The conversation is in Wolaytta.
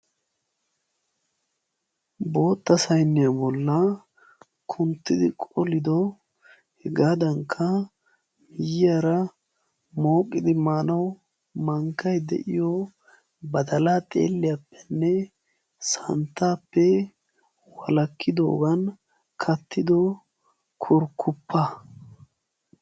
Bootta sayiya bollan kuntti qollido heggadankka miyiyara mooqqidi maanawu mankkay deiyo badaalaa xiilliyapene santtappe walaakidogan kattido kurkuppa.